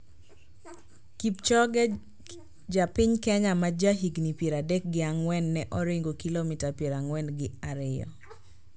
Kipchoge, ja piny Kenya ma ja higni pier adek gi ang`wen ne oringo kilomita pier ang`wen gi ariyo